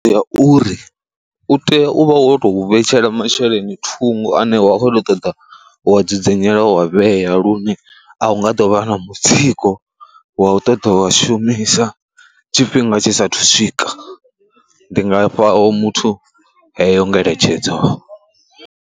Ndi ya uri u tea u vha wo tou vhetshela masheleni thungo ane wa khou ṱoḓa u wa dzudzanyela wa vhea lune a u nga ḓo vha na mutsiko wa u ṱoḓa wa shumisa tshifhinga tshisa thu swika, ndi nga fha ho muthu heyo ngeletshedzo.